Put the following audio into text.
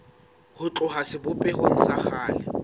ho tloha sebopehong sa kgale